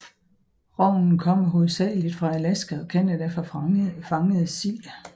Rognen kommer hovedsageligt fra Alaska og Canada fra fangede sild